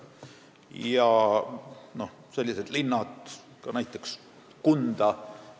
Osa neist asub just Ida-Virumaal, näiteks Kundas.